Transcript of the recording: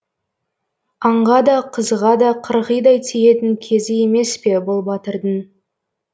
аңға да қызға да қырғидай тиетін кезі емес пе бұл батырдың